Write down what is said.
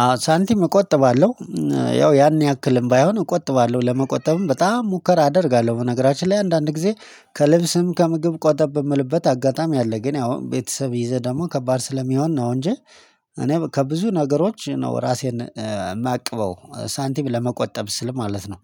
አዎ ሳንቲም እቆጥባለሁ። ያው ያን ያክልም ባይሆን እቆጥባለሁ ለመቆጠብም በጣም ሙከራ አደርጋለሁ በነገራችን ላይ አንዳንድ ጊዜ ከልብስም ከምግብ ቆጠብ በምልበት አጋጣሚ አለ። ግን ያው ቤተሰብ ይዘህ ደግሞ ከባድ ስለሚሆን ነው እንጂ። እኔ ከብዙ ነገሮች ነው ራሴን የማያቅበው ሳንቲም ለመቆጠብ ስል ማለት ነው።